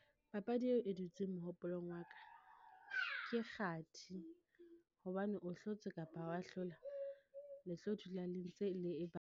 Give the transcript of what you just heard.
Papadi eo e dutseng mohopolong wa ka, ke kgathi. Hobane o hlotse kapa ha o wa hlola, le tlo dula le ntse le e .